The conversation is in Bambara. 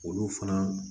Olu fana